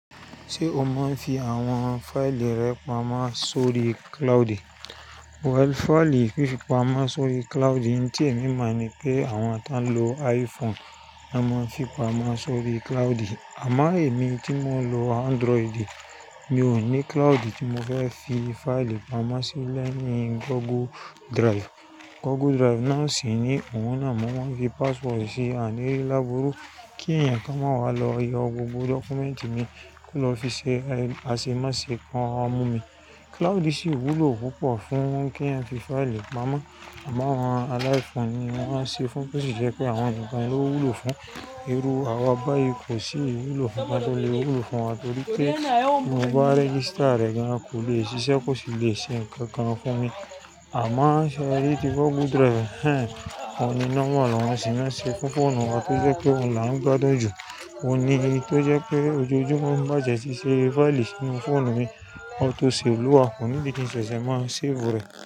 Ṣé o mọ̀ fí àwọn fáìlì rẹ pamọ́ sórí cloud? Well, fáìlì fí fi pamọ́ sórí cloud n ti èmi mọ̀ ní pé àwọn tán lò iPhone nà máa ń fi pamọ́ sórí cloud. Àmá èmi tí mò ń lò Android, mi ò ní cloud tí mo fẹ́ fi fáìlì pamọ́ sí lẹ́yìn Google Drive. Google Drive náà sì ni òun náà mo máa ń fi password sí àní rí lábùurú kí ẹ̀yàn ká máa wá lọ yọ gbogbo dọ́kúmẹ́ǹtì mi kó lọ fi ṣe àṣemáṣẹ́ kan wà mú mi. Cloud sì wú lo púpọ̀ fún kí Yàn fi fáìlì pamọ́. Àmá àwọn alá iPhone ni wọ́n ṣe fún to ṣi jẹ́ pé àwọn nìkan ló wú lo fún. Irú àwa bá ìkó sì wú lo kankan, to lè wú lo fún wa torí pé mo bá register ẹ̀ gan kó lè ṣiṣẹ́ kó sì lè ṣe ǹkan kan fún mi. Àmá ṣẹ́ rí tí Google Drive, ẹ́n, ó ní nọ́mọ̀ lọ́wọ́ sì má ṣe fún fóònù wa tó jẹ́ pé òun la ń gbádùn jù. Ó ní tó jẹ́ pé ojoojúmọ́ ń bà ti ẹ́ sí i ṣe fáìlì sínu fóònù mi, o to ṣèf lowa, kò níbi kí n ṣẹ̀ṣẹ̀ máa ṣèfu rọ̀